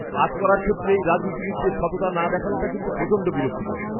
কাজ করার ক্ষেত্রে এই রাজনীতিবিদদের সততা না দেখানোটা কিন্তু প্রচণ্ড বিরক্তিকর।